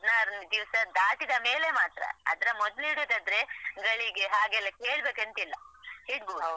ಹದ್ನಾರನೆ ದಿವಸ ದಾಟಿದ ಮೇಲೆ ಮಾತ್ರ. ಅದ್ರ ಮೊದಲು ಇಡುದಾದ್ರೆ ಗಳಿಗೆ ಹಾಗೆಲ್ಲ ಕೇಳ್ಬೇಕಂತ ಇಲ್ಲ ಇಡ್ಬಹುದು.